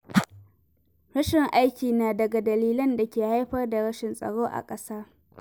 Rashin aiki na daga dalilan da ke haifar da rashin tsaro a ƙasa.